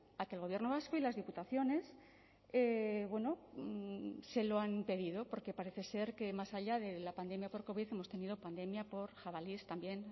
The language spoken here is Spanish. a que el gobierno vasco y las diputaciones bueno se lo han pedido porque parece ser que más allá de la pandemia por covid hemos tenido pandemia por jabalíes también